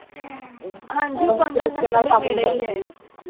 ਹਨਜੀ ਉਹ ਪੰਦਰਾਂ sector ਦੇ ਨੇੜੇ ਐ